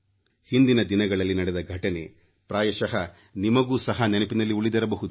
ಹಿಂದಿನ ದಿನಗಳಲ್ಲಿ ನಡೆದ ಘಟನೆ ಪ್ರಾಯಶಃ ನಿಮಗೂ ಸಹ ನೆನಪಿನಲ್ಲಿ ಉಳಿದಿರಬಹುದು